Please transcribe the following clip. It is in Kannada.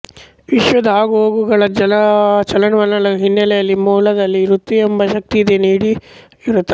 ವಿಶ್ವದ ಆಗುಹೋಗುಗಳ ಚಲನವಲನಗಳ ಹಿನ್ನೆಲೆಯಲ್ಲಿ ಮೂಲದಲ್ಲಿ ಋತವೆಂಬ ಶಕ್ತಿಯಿದೆ ನೋಡಿ ಋತ